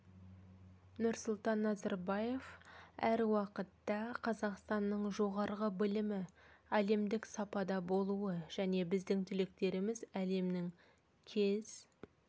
нұрсұлтан назарбаев әр уақытта қазақстанның жоғарғы білімі әлемдік сапада болуы және біздің түлектеріміз әлемнің кез